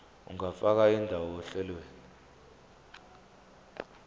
ungafaka indawo ohlelweni